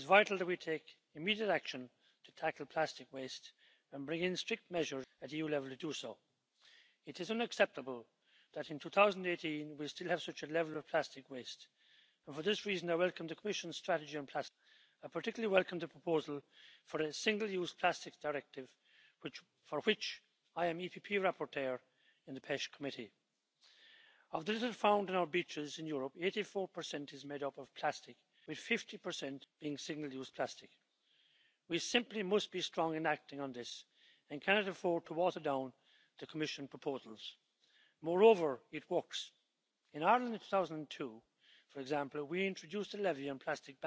Ich arbeite gerade an der Schiffsmüll Richtlinie und gucke, was man tun kann, um wirklich allen Müll an Land zu bringen. Das ist eine Sache. Wir hatten über meine Meeresgruppe vor Kurzem gerade, im April, eine große Plastikausstellung, wo man gucken konnte und anschauen konnte, was die Wissenschaft herausgefunden hat, was es für unterschiedliche Plastik gibt und was sie eben auch an Schaden anrichten kann. Und dann ist es so, dass es durchaus tatsächlich, wie das Jo Leinen gerade sagte, auch viele Chancen bietet, auf neue Produktlinien zu setzen, auf alternative Materialien, die wir verwenden können, oder auch auf Start ups, die zum Beispiel den Ozean säubern und überall den Müll beseitigen. Wir haben also ganz viele Möglichkeiten, dort etwas zu verbessern, und das sollten wir auf jeden Fall auch tun.